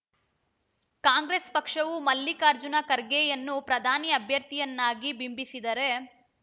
ಕಾಂಗ್ರೆಸ್‌ ಪಕ್ಷವು ಮಲ್ಲಿಕಾರ್ಜುನ ಖರ್ಗೆಯವನ್ನು ಪ್ರಧಾನಿ ಅಭ್ಯರ್ಥಿಯನ್ನಾಗಿ ಬಿಂಬಿಸಿದರೆ